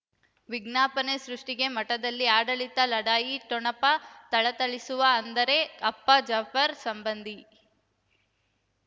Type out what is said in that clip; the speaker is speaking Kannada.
ವಿಜ್ಞಾಪನೆ ಸೃಷ್ಟಿಗೆ ಮಠದಲ್ಲಿ ಆಡಳಿತ ಲಢಾಯಿ ಠೊಣಪ ಥಳಥಳಿಸುವ ಅಂದರೆ ಅಪ್ಪ ಜಾಫರ್ ಸಂಬಂಧಿ